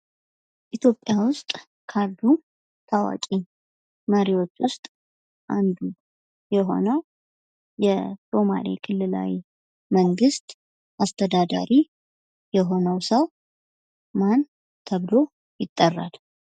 ኢትዮጵያ ውስጥ ካሉ ታዋቂ መሪዎች ውስጥ አንዱ የሆነው የሶማሌ ክልላዊ መንግስት ኣስተዳዳሪ የሆነው ሰው ማን ተብሎ ይጠራል?